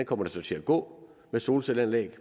kommer til at gå med solcelleanlæg og